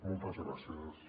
moltes gràcies